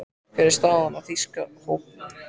Hver er staðan á þýska hópnum?